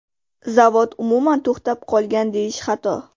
Zavod umuman to‘xtab qolgan deyish xato.